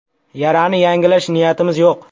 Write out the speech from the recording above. Yarani yangilash niyatimiz yo‘q.